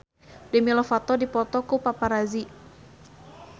Demi Lovato dipoto ku paparazi